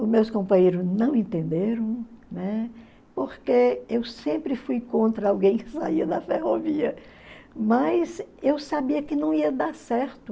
Os meus companheiros não entenderam, né, porque eu sempre fui contra alguém que saía da ferrovia, mas eu sabia que não ia dar certo.